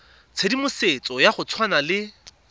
tshedimosetso ya go tshwana le